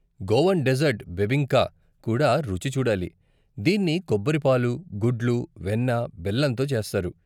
Goan dessert bebinca కూడా రుచి చూడాలి, దీన్ని కొబ్బరి పాలు, గుడ్లు, వెన్న, బెల్లంతో చేస్తారు.